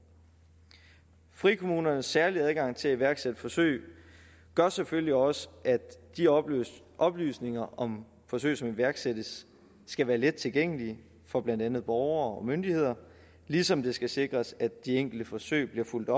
frikommunernes særlige adgang til at iværksætte forsøg gør selvfølgelig også at de oplysninger oplysninger om forsøg som iværksættes skal være let tilgængelige for blandt andet borgere og myndigheder ligesom det skal sikres at de enkelte forsøg bliver fulgt